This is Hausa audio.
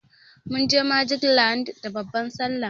Munje magic land da babban sallah.